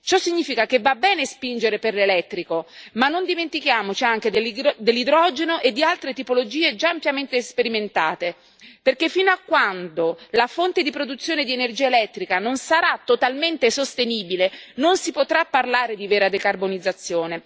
Ciò significa che va bene spingere per l'elettrico, ma non dimentichiamoci anche dell'idrogeno e di altre tipologie già ampiamente sperimentate, perché fino a quando la fonte di produzione di energia elettrica non sarà totalmente sostenibile, non si potrà parlare di vera decarbonizzazione.